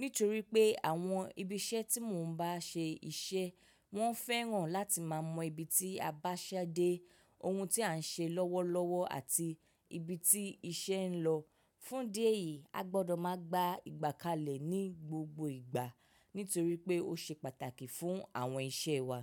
Nítorí pé àwọn ibi iṣẹ́ tí mo ń bá ṣe iṣẹ́, wọ́n fẹ́ràn láti máa mọ ibi tí a bá ṣẹ dé, oun tí à ń ṣe lọ́wọ́lọ́wọ́ àti ibi tí iṣẹ́ ń lọ. Fún idí eyì, a gbọ́dọ̀ máa gba ìgbàkalẹ̀ ní gbogbo ìgbà nítorí pé ó ṣe pàtàkì fún àwọn iṣẹ́ wa.